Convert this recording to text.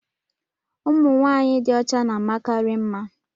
ụmụ nwanyị dị ọcha na-amakarị mma